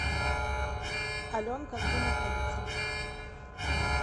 аленка где находится